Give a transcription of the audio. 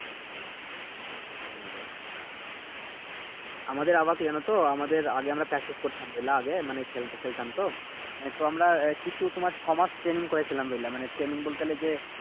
হুম আমাদের আবার কি জানোতো আমাদের আগে আমরা Practice করতাম বুঝলা আগে মানে খেলতে খেলতাম তো এহ তো আমরা কিছু তোমার ছয় মাস ট্রেনিং করেছিলাম বুঝলা মানে ট্রেনিং বলতে এই যে